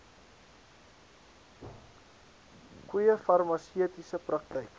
goeie farmaseutiese praktyk